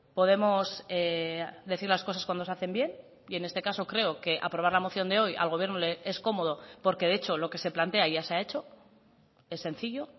podemos decir las cosas cuando se hacen bien y en este caso creo que aprobar la moción de hoy al gobierno le es cómodo porque de hecho lo que se plantea ya se ha hecho es sencillo